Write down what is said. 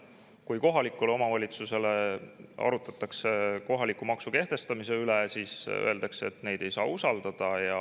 Kui arutatakse kohalikes omavalitsustes kohaliku maksu kehtestamist, siis öeldakse, et neid ei saa usaldada.